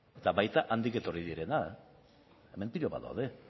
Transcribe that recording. eta baita handik etorri direnak hemen pilo bat daude